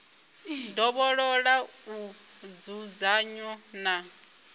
ndovhololo u oa nzudzanyo na